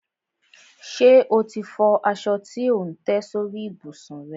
Ṣe o ti fọ aṣọ tí ò ń tẹ́ sórí ìbùsùn rẹ?